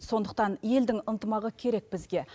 сондықтан елдің ынтымағы керек бізге